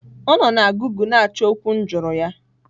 Ọ nọ na gụgle na-achọ okwu m jụrụ ya.